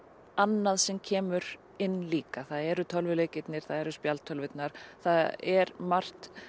annað sem kemur inn líka það eru tölvuleikirnir það eru spjaldtölvurnar það er margt